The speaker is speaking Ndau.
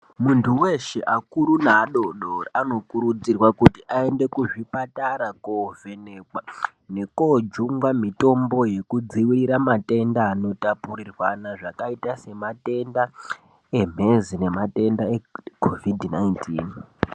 Muntu weeshe akuru naadoodori anokurudzirwa kuti aende kuzvipatara koovhenekwa nekoojungwa mitombo yekudzivirira matenda anotapurirwana akaita sematenda emhezi kana matenda eCOVID 19.